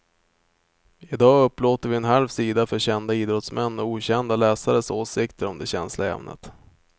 I dag upplåter vi en halv sida för kända idrottsmän och okända läsares åsikter om det känsliga ämnet.